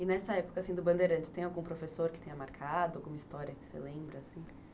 E nessa época do Bandeirantes, tem algum professor que tenha marcado alguma história que você lembra, assim?